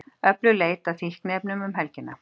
Öflug leit að fíkniefnum um helgina